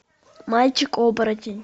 мальчик оборотень